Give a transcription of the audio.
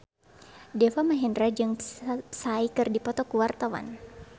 Deva Mahendra jeung Psy keur dipoto ku wartawan